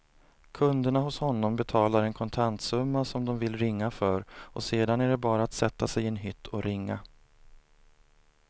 Kunderna hos honom betalar en kontantsumma som de vill ringa för och sedan är det bara att sätta sig i en hytt och ringa.